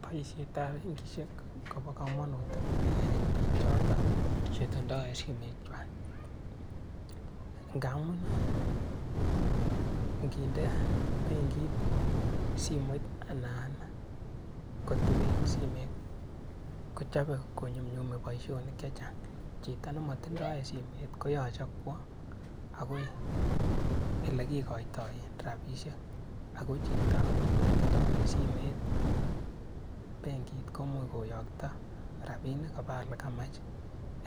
Boishetab benkishek kobo komonut en biik choton chetindo en simoshekwak, ng'amuun ing'inde benkit simoit alaan koteben simoit kochobe konyumnyume boishonik chechang, chito nemotindo en simoit koyoche kwoo akoi olekikoitoen rabisnek akoo chito netinto en simoit benkit komuch koyokto rabinik kobaa elekamach